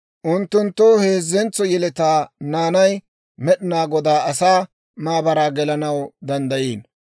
Unttunttoo heezzentso yeletaa naanay Med'inaa Godaa asaa maabaraa gelanaw danddayiino.